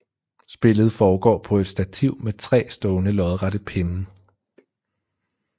Spillet foregår på et stativ med tre stående lodrette pinde